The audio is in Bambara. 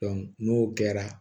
n'o kɛra